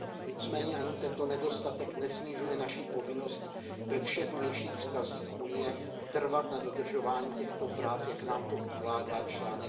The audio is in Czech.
Nicméně ani tento nedostatek nesnižuje naši povinnost ve všech vnějších vztazích Evropské unie trvat na dodržování těchto práv, jak nám to ukládá čl.